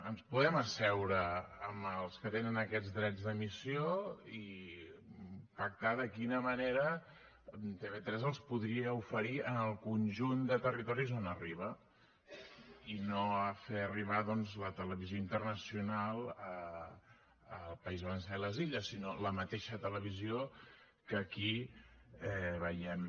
ens podem asseure amb els que tenen aquests drets d’emissió i pactar de quina manera tv3 els podria oferir en el conjunt de territoris on arriba i no a fer arribar doncs la televisió internacional al país valencià i a les illes sinó la mateixa televisió que aquí veiem